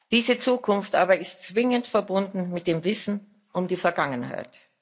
Diese Zukunft aber ist zwingend verbunden mit dem Wissen um die Vergangenheit.